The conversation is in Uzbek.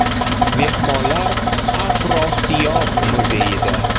Mehmonlar “Afrosiyob” muzeyida.